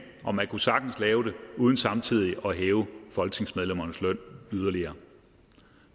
og man kunne sagtens lave det uden samtidig at hæve folketingsmedlemmernes løn yderligere